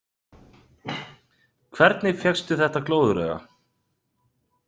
Hvernig fékkstu þetta glóðarauga?